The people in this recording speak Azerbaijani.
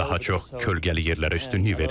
Daha çox kölgəli yerlərə üstünlük verirəm.